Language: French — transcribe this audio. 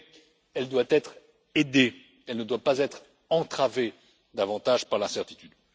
Mais elle doit être aidée et ne doit pas être entravée davantage par l'incertitude.